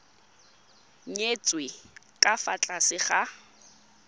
nyetswe ka fa tlase ga